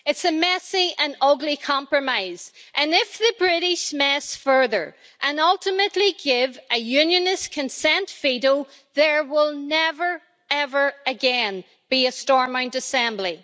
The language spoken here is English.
It's a messy and an ugly compromise, and if the British mess further and ultimately give a Unionist consent veto, there will never, ever again, be a Stormont Assembly.